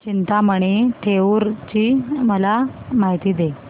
चिंतामणी थेऊर ची मला माहिती दे